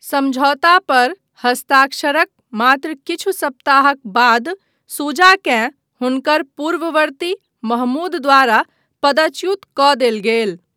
समझौता पर हस्ताक्षरक मात्र किछु सप्ताहक बाद शुजाकेँ हुनकर पूर्ववर्ती महमूद द्वारा पदच्युत कऽ देल गेल।